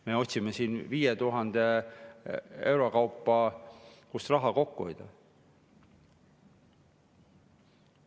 Me otsime siin 5000 euro kaupa, kust raha kokku hoida.